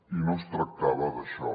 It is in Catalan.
i no es tractava d’això